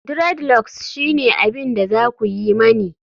dreadlocks shine abin da za ku yi mani